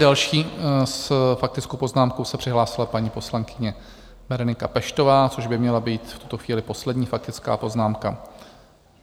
Další s faktickou poznámkou se přihlásila paní poslankyně Berenika Peštová, což by měla být v tuto chvíli poslední faktická poznámka.